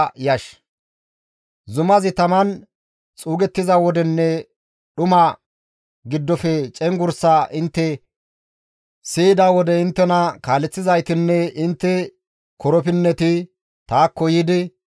«Zumazi taman xuugettiza wodenne dhuma giddofe cenggurssa intte siyida wode inttena kaaleththizaytinne intte korapinneti taakko yiidi,